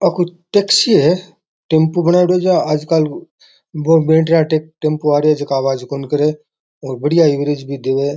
कोई टेक्सी है टेम्पू बनायेड़ो छ आजकल वो बैटरी आला टेम्पू आ रहा है जका आवाज कोन करे और बढ़िया एवरेज भी देवे है।